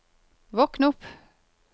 våkn opp